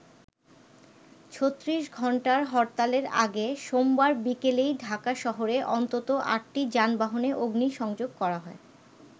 ৩৬ ঘন্টার হরতালের আগে সোমবার বিকেলেই ঢাকা শহরে অন্তত আটটি যানবাহনে অগ্নিসংযোগ করা হয়।